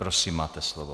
Prosím, máte slovo.